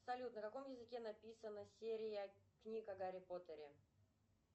салют на каком языке написана серия книг о гарри поттере